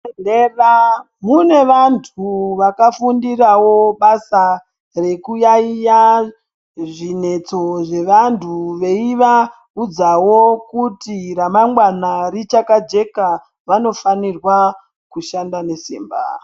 Mudendera munevantu vakafundirawo basa rekuyayiya zvinetso zvevandu veivaudzawo kuti ramangwana richakajeka vano fanirwa kushanda nesimba.